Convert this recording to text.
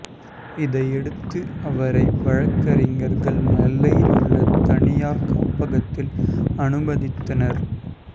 இதையடுத்து அவரை வழக்கறிஞர்கள் நெல்லையில் உள்ள தனியார் காப்பகத்தில் அனுமதித்தனர்